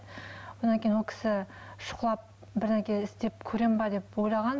одан кейін ол кісі шұқылап бірдеңе істеп көремін бе деп ойлаған